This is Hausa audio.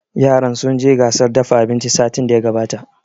Yaran sun je gasar dafa abinci satin da ya gabata